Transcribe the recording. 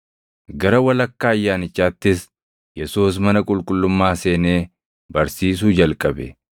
Gara walakkaa Ayyaanichaattis Yesuus mana qulqullummaa seenee barsiisuu jalqabe.